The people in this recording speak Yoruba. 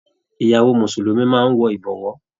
Ìyàwó mùsùlùmí máa n wọ ibọwọ́.